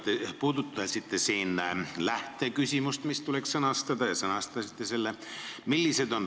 Te puudutasite siin lähteküsimust, mis tuleks sõnastada, ja sõnastasite selle.